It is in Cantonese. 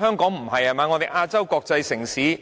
香港是亞洲國際城市，